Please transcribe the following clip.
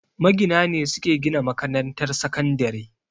Magina ne suke gina makarantar sakandire